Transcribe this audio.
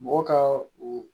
Mɔgɔ ka o